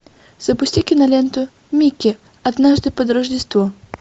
запусти киноленту микки однажды под рождество